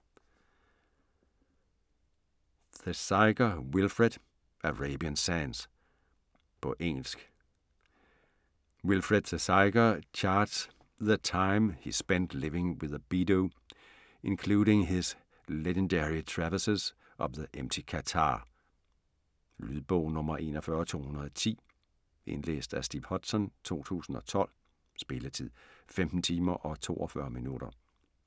Thesiger, Wilfred: Arabian sands På engelsk. Wilfred Thesiger charts the time he spent living with the Bedu, including his legendary traverses of the Empty Quarter. Lydbog 41210 Indlæst af Steve Hodson, 2012. Spilletid: 15 timer, 42 minutter.